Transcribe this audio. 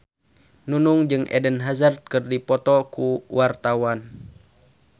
Nunung jeung Eden Hazard keur dipoto ku wartawan